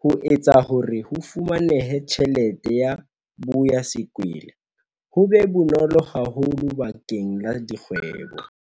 ho etsa hore ho fumaneha ha tjhelete ya 'ho boya sekwele' ho be bonolo haholo bakeng la dikgwebo.